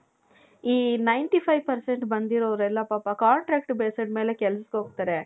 ಈ ninety five percent ಬಂದಿರೋರೆಲ್ಲಾ ಪಾಪ contract basis ಮೇಲೆ ಕೆಲಸಕ್ಕೆ ಹೋಗ್ತಾರೆ .